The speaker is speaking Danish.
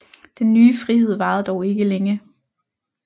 Den nye frihed varede dog ikke længe